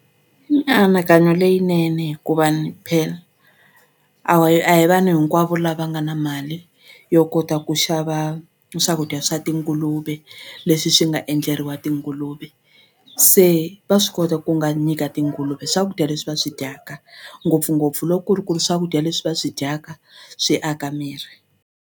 Mianakanyo leyinene hikuva ni phela a a hi vanhu hinkwavo lava nga na mali yo kota ku xava swakudya swa tinguluve leswi swi swi nga endleriwa tinguluve se va swi kota ku nga nyika tinguluve swakudya leswi va swi dyaka ngopfungopfu loko ku ri ku ri swakudya leswi va swi dyaka swi aka miri.